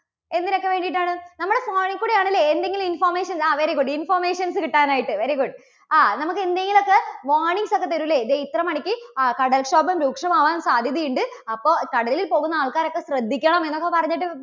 എന്തിനൊക്കെ വേണ്ടിയിട്ടാണ്? നമ്മുടെ phone ൽ കൂടെ ആണല്ലേ എന്തെങ്കിലും information, ആ very good, informations കിട്ടാൻ ആയിട്ട്. very good. ആ നമുക്ക് എന്തെങ്കിലുമൊക്കെ warnings ഒക്കെ തരും ഇല്ലേ? ദേ ഇത്ര മണിക്ക് ആ കടൽക്ഷോഭം രൂക്ഷമാകാൻ സാധ്യതയുണ്ട്. അപ്പോൾ കടലിൽ പോകുന്ന ആൾക്കാരൊക്കെ ശ്രദ്ധിക്കണം എന്നൊക്കെ പറഞ്ഞിട്ട്